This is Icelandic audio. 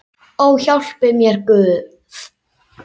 Ó, hjálpi mér Guð!